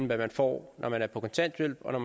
hvad man får når man er på kontanthjælp og